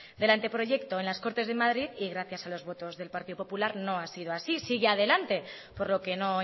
del anteproyecto en las cortes de madrid y gracias a los votos del partido popular no ha sido así sigue adelante por lo que no